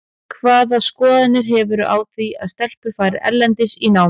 Hvaða skoðanir hefurðu á því að stelpur fari erlendis í nám?